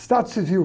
Estado civil.